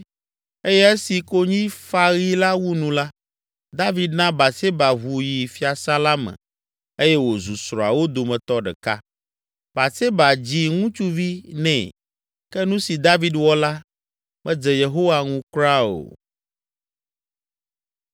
eye esi konyifaɣi la wu nu la, David na Batseba ʋu yi fiasã la me eye wòzu srɔ̃awo dometɔ ɖeka. Batseba dzi ŋutsuvi nɛ, ke nu si David wɔ la, medze Yehowa ŋu kura o.